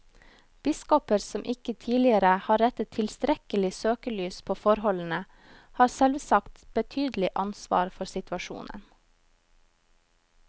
Biskoper som ikke tidligere har rettet tilstrekkelig søkelys på forholdene, har selvsagt betydelig ansvar for situasjonen.